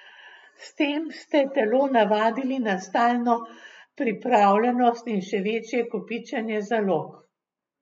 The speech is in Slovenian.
S tem ste telo navadili na stalno pripravljenost in še večje kopičenja zalog.